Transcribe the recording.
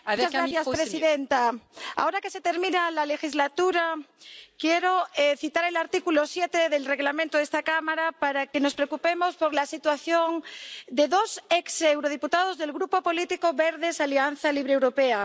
Señora presidenta, ahora que se termina la legislatura quiero citar el artículo 7 del Reglamento de esta Cámara para que nos preocupemos por la situación de dos exdiputados al Parlamento Europeo del Grupo político Los Verdes Alianza Libre Europea.